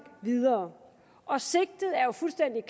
videre og sigtet er jo fuldstændig